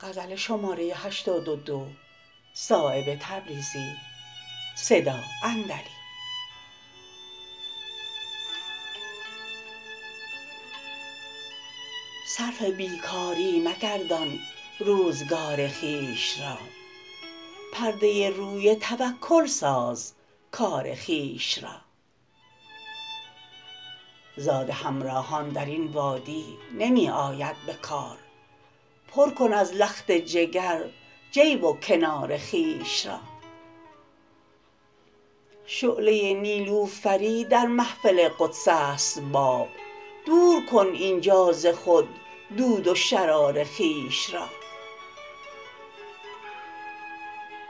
صرف بیکاری مگردان روزگار خویش را پرده روی توکل ساز کار خویش را زاد همراهان درین وادی نمی آید به کار پر کن از لخت جگر جیب و کنار خویش را شعله نیلوفری در محفل قدس است باب دور کن اینجا ز خود دود و شرار خویش را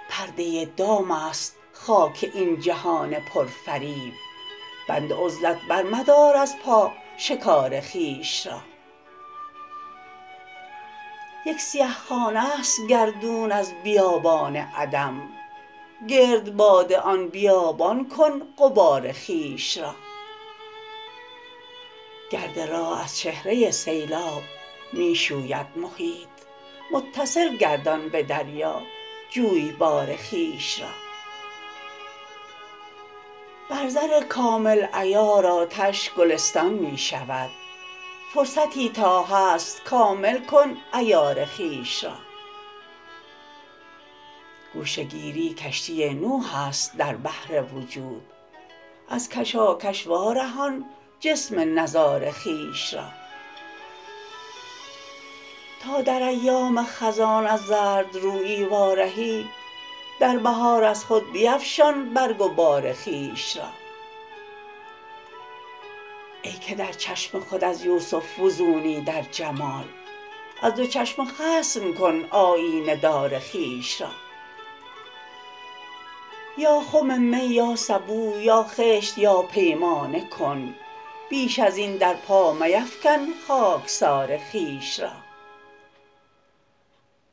پرده دام است خاک این جهان پرفریب بند عزلت بر مدار از پا شکار خویش را یک سیه خانه است گردون از بیابان عدم گردباد آن بیابان کن غبار خویش را گرد راه از چهره سیلاب می شوید محیط متصل گردان به دریا جویبار خویش را بر زر کامل عیار آتش گلستان می شود فرصتی تا هست کامل کن عیار خویش را گوشه گیری کشتی نوح است در بحر وجود از کشاکش وارهان جسم نزار خویش را تا در ایام خزان از زردرویی وارهی در بهار از خود بیفشان برگ و بار خویش را ای که در چشم خود از یوسف فزونی در جمال از دو چشم خصم کن آیینه دار خویش را یا خم می یا سبو یا خشت یا پیمانه کن بیش ازین در پا میفکن خاکسار خویش را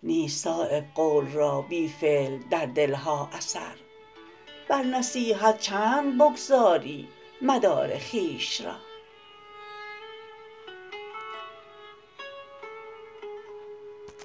نیست صایب قول را بی فعل در دل ها اثر بر نصیحت چند بگذاری مدار خویش را